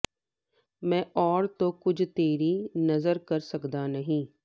ਮੈਂ ਔਰ ਤੋ ਕੁਛ ਤੇਰੀ ਨਜ਼ਰ ਕਰ ਸਕਤਾ ਨਹੀਂ